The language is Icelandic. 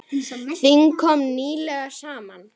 Þing kom nýlega saman.